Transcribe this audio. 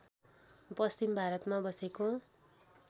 पश्चिम भारतमा बसेको